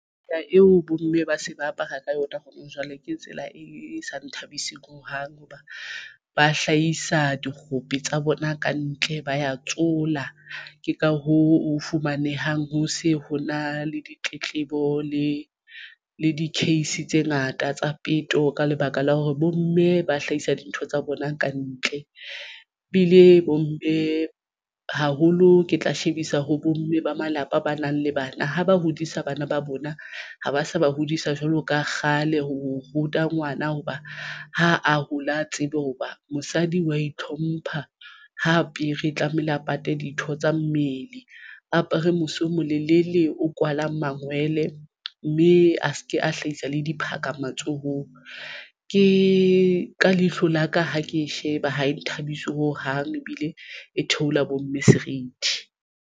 Taba eo bomme ba se ba apara ka yona kgonang jwale ke tsela e sa nthabiseng hohang hoba ba hlahisa dikgope tsa bona ka ntle ba ya tsola. Ke ka hoo fumanehang ho se ho na le ditletlebo le le di-case tse ngata tsa peto. Ka lebaka la hore bomme ba hlahisa dintho tsa bona ka ntle ba ile bomme haholo. Ke tla shebisa ho bomme ba malapa ba nang le bana ha ba hodisa bana ba bona ha ba sa ba hodisa jwalo ka kgale ho ruta ngwana hoba ha a hole a tsebe hoba mosadi wa itlhompha ho apere tlamehile a pate ditho tsa mmele. Apere mose o molele o kwalang mangwele, mme a se ke a hlahisa le diphaka matsohong. Ke ka leihlo la ka ha ke sheba ha e nthabise ho hang ebile e thehola bomme serithi.